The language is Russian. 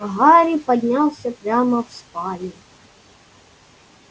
гарри поднялся прямо в спальню